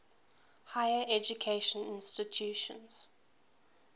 higher educational institutions